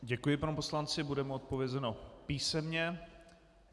Děkuji panu poslanci, bude mu odpovězeno písemně.